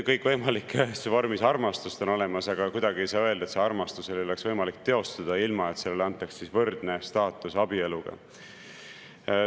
Kõikvõimalikus vormis armastust on olemas, aga kuidagi ei saa öelda, et seda armastust ei oleks võimalik teostada, ilma et sellele antaks võrdne staatus abieluga.